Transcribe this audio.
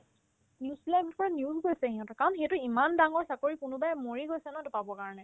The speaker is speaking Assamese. news বিলাক paper ত news ওলাইছে সিহতৰ কাৰণ ইমান ডাঙৰ চাকৰি কোনোবাই মৰি গৈছে ন সেইটো পাবৰ কাৰণে